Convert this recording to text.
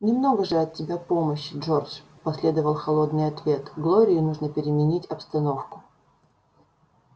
немного же от тебя помощи джордж последовал холодный ответ глории нужно переменить обстановку